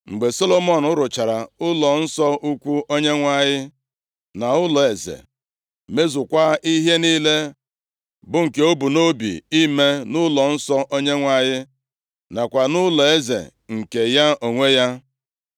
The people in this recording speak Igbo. Mgbe Solomọn rụchara ụlọnsọ ukwu Onyenwe anyị, na ụlọeze, mezukwaa ihe niile bụ nke o bu nʼobi ime nʼụlọnsọ Onyenwe anyị nakwa nʼụlọeze nke ya onwe ya.